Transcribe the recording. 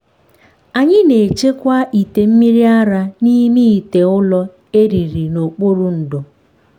anyị na-echekwa ite mmiri ara n’ime ite ụrọ e liri n’okpuru ndo.